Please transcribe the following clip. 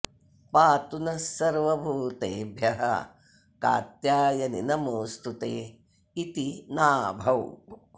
पातु नः सर्वभूतेभ्यः कात्यायनि नमोऽस्तु ते इति नाभौ